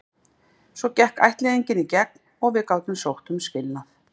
Svo gekk ættleiðingin í gegn og við gátum sótt um skilnað.